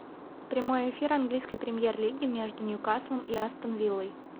прямой эфир английской премьер лиги между ньюкаслом и астон виллой